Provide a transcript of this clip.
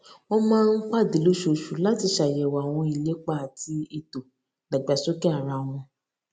wón máa ń pàdé lóṣooṣù láti ṣàyèwò àwọn ìlépa àti ètò ìdàgbàsókè ara wọn